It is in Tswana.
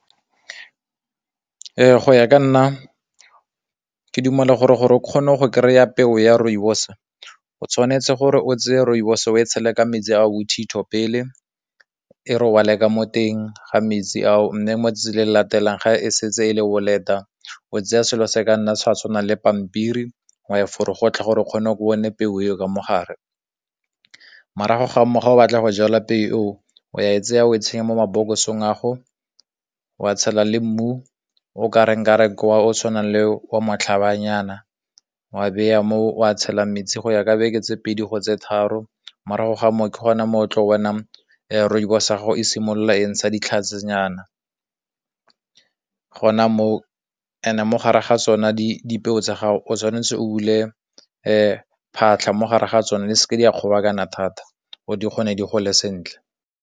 Go ya ka nna ke dumela gore gore o kgone go kry-a peo ya rooibos, o tshwanetse gore o tseye rooibos o e tshele ka metsi a bothitho pele, e robale ka mo teng ga metsi ao, mme mo 'tsatsing le le latelang ga e setse e le boleta, o tseye selo se ka nna sa tshwanang le pampiri wa ya gore o kgone peo eo ka mogare, morago ga moo, ga o batla go jala peo eo, wa e tsaya o e tsenya mo mabokosong ago, wa tshela le mmu o tshwanang le wa motlhaba nyana, wa beya mo wa tshela metsi go ya ka beke tse pedi go tse tharo morago ga moo ke gone mo o tlo bonang rooibos ya gago e simololang sa ditlhase nyana, gona mo mo gare ga tsone dipeo tsa gago o tshwanetse o bule phatlha mo gare ga tsone di seke di a kgobokantsa thata gore di kgone di gole sentle.